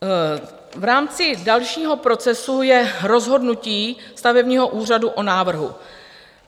V rámci dalšího procesu je rozhodnutí stavebního úřadu o návrhu.